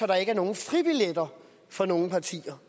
der ikke er nogen fribilletter for nogen partier